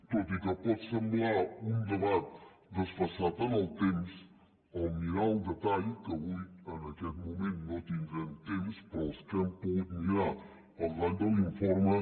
tot i que pot semblar un debat desfasat en el temps al mirar el detall que avui en aquest moment no tindrem temps però els que hem pogut mirar el detall de l’informe